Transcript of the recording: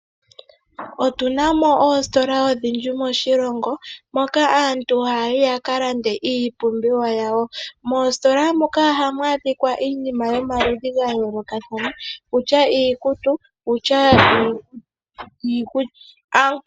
Otuna mo oositola odhindji moshilongo moka aantu haya yi yaka lande iipumbiwa yawo. Moositola muka ohamu adhika iinima yomaludhi ga yoolothana kutya iikutu, niikulya.